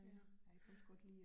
Ja, ja